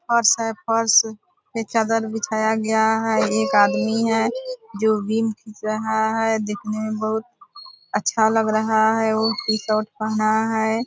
फर्श है फर्श पे चादर बिछाया गया है। एक आदमी है जो बीम खिच रहा है। देखने मे बहुत अच्छा लग रहा है वो टी-शर्ट पहना है ।